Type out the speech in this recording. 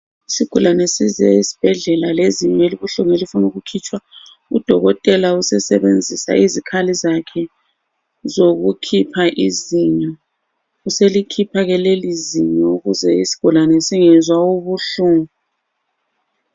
Isigulani size esibhedlela lezinyo elibuhlungu elifuna ukukhitshwa. Udokotela usesebenzisa izikhali zakhe zokukhipha izinyo, uselikhipha ke leli zinyo ukuze isigulane singezwa ubuhlungu.